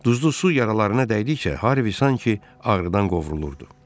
Duzlu su yaralarına dəydikcə Harvi sanki ağrıdan qovrulurdu.